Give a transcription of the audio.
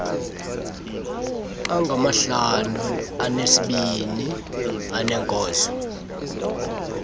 angamahlanu anesibini aneenkonzo